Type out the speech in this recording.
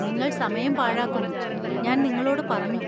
നിങ്ങൾ സമയം പാഴാക്കുന്നു, ഞാൻ നിങ്ങളോട് പറഞ്ഞു.